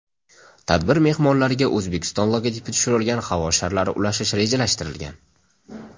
Tadbir mehmonlariga O‘zbekiston logotipi tushirilgan havo sharlari ulashish rejalashtirilgan.